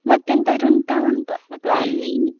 ಮತ್ತೆ ಎಂತದ್ರೂ ಉಂಟಾ ಅಂತ .